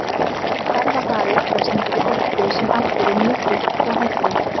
Mikill ferðahraði krefst mikillar orku sem aftur er mjög dýrt og hættulegt.